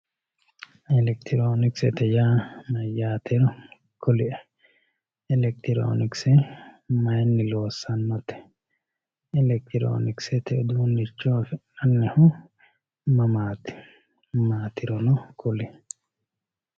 elekitiroonikisete yaa mayyaatero kulie elekitiroonikise mayni loossannote elekitiroonikisete uduunnicho afi'nannihu mamaati maatirono kulie